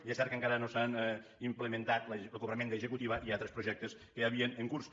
i és cert que encara no s’han implementat el cobrament d’executiva i altres projectes que hi havien en curs